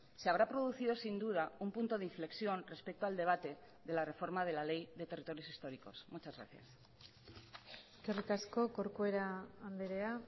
se habrá producido sin duda un punto de inflexión respecto al debate de la reforma de la ley de territorios históricos muchas gracias eskerrik asko corcuera andrea